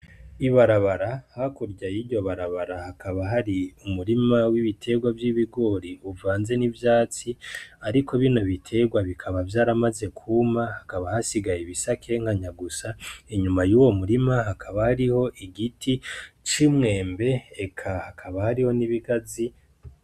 Ibarabara hakurya yiryo barabara hakaba hari umurima w'ibiterwa vy'ibigori uvanze n'ivyatsi ariko bino biterwa bikaba vyaramaze kwuma hakaba hasigaye ibisakenkanya gusa inyuma y'uwo murima hakaba hari igiti c'umwembe eka hakaba hariho n'ibigazi...